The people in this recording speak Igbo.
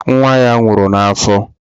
Nwa ya nwụrụ n'afọ.